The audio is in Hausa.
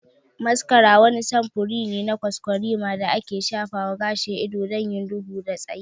Mascara wani samfuri ne na kwaskwarima da ake shafa wa gashin ido don yin duhu da tsayi.